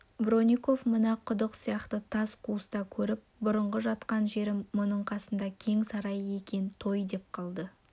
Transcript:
бронников мына құдық сияқты тас қуысты көріп бұрынғы жатқан жерім мұның қасында кең сарай екен той деп қалды